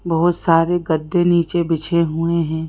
बहोत सारे गद्दे नीचे बिछे हुए हैं।